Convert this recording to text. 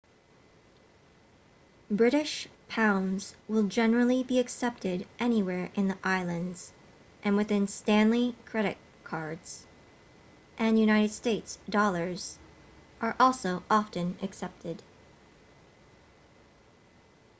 british pounds will generally be accepted anywhere in the islands and within stanley credit cards and united states dollars are also often accepted